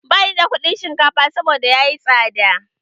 Ba ni da kuɗin shinkafa saboda yayi tsada.